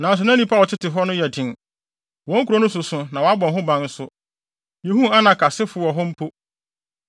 Nanso na nnipa a wɔtete hɔ no yɛ den. Wɔn nkurow no soso na wɔabɔ ho ban nso. Yehuu Anak asefo wɔ hɔ mpo.